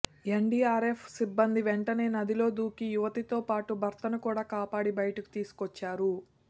ఎన్ DRF సిబ్బంది వెంటనే నదిలో దూకి యువతితోపాటు భర్తను కూడా కాపాడి బయటకు తీసుకొచ్చారు